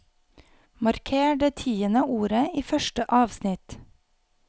Marker det tiende ordet i første avsnitt